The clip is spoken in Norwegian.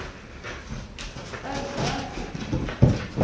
Aure